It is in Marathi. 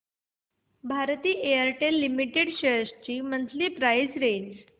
भारती एअरटेल लिमिटेड शेअर्स ची मंथली प्राइस रेंज